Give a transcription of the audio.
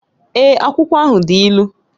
Èé, akwụkwọ ahụ dị ilu